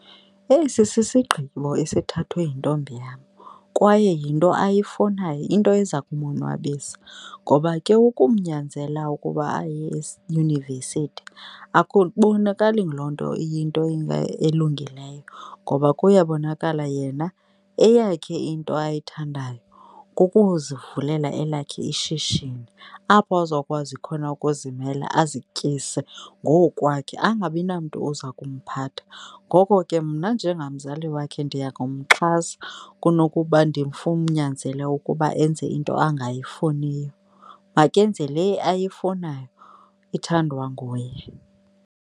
Esi sisigqibo esithathwe yintombi yam kwaye yinto ayifunayo, into eza kumonwabisa, ngoba ke ukumnyanzela ukuba aye akubonakali loo nto iyinto elungileyo ngoba kuyabonakala yena eyakhe into ayithandayo kukuzivulela elakhe ishishini apho azokwazi khona ukuzimela ezityise ngokwakhe, angabi namntu oza kumphatha. Ngoko ke mna njengamzali wakhe ndiya kumxhasa kunokuba ukuba enze into angayifuniyo. Makenze le ayifunayo ithandwa nguye.